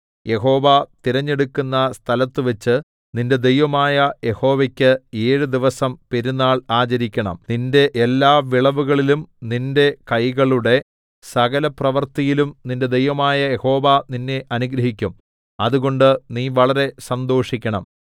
യഹോവ തിരഞ്ഞെടുക്കുന്ന സ്ഥലത്തുവച്ച് നിന്റെ ദൈവമായ യഹോവയ്ക്ക് ഏഴു ദിവസം പെരുന്നാൾ ആചരിക്കണം നിന്റെ എല്ലാ വിളവുകളിലും നിന്റെ കൈകളുടെ സകലപ്രവൃത്തിയിലും നിന്റെ ദൈവമായ യഹോവ നിന്നെ അനുഗ്രഹിക്കും അതുകൊണ്ട് നീ വളരെ സന്തോഷിക്കണം